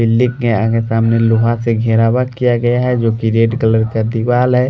Building आगे सामने लोहा से घेरावट किया गया है जो के रेड कलर का दीवाल है।